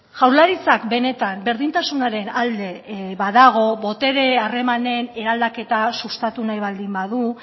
jaurlaritzak benetan berdintasunaren alde badago botere harremanen eraldaketa sustatu nahi baldin badu